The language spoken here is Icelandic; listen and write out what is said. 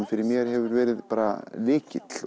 fyrir mér hefur verið bara lykill